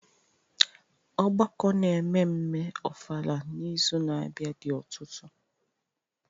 Ọgbakọ n'ememme ofala n'izu na-abịa dị ọtụtụ.